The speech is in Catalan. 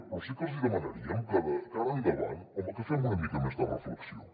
però sí que els demanaríem que de cara a endavant home que fem una mica més de reflexió